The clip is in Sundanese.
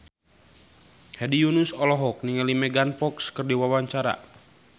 Hedi Yunus olohok ningali Megan Fox keur diwawancara